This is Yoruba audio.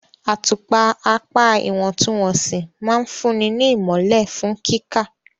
Àtùpà apá ìwọ̀ntúnwọ̀nsì máa ń fúnni ní ìmọ́lẹ̀ fún kíkà.